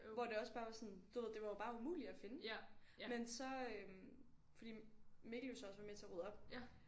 Hvor det også bare var sådan du ved det var bare umuligt at finde men så øh fordi Mikkel jo så også var med til at rydde op